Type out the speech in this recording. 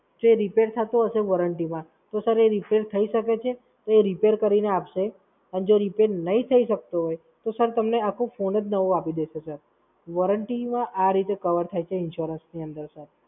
જો એ Repair થતો હશે Warranty માં તો સર એ Repair થઈ શકે છે. તો એ રીપેર કરીને આપશે અને જો Repair નહીં થઈ શકતો હોય તો Sir તમને આખું ફોન જ નવો આપી દેશે Sir. warranty આ રીતે Cover થાય છે insurance અંદર Sir